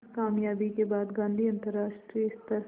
इस क़ामयाबी के बाद गांधी अंतरराष्ट्रीय स्तर